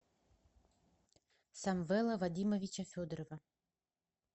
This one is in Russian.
самвела вадимовича федорова